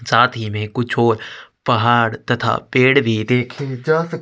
साथ ही में कुछ और पहाड़ तथा पेड़ भी देखें जा सक --